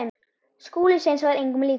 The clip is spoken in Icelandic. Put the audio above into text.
Skúli Sveins var engum líkur.